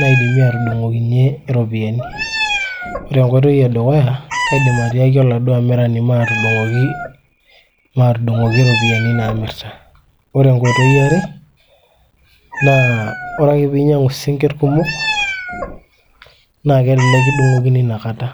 naidimi atudung'okinyie iropiyiani ore enkoitoi edukuya kaidim atiaki oladuo amirani maatudung'oki iropiyiani naamirta, ore enkoitoi iare naa ore ake piinyang'u sinkirr kumok naa kelelek kidung'okini inakata.